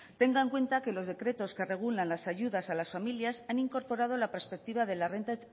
tenga en cuenta que los decretos que regulan las ayudas a las familias han incorporado la perspectiva de la renta